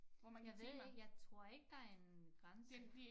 Jeg ved ikke jeg tror ikke der en grænse